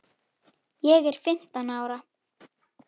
Ég er fimmtán ára.